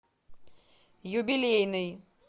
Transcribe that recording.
юбилейный